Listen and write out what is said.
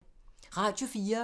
Radio 4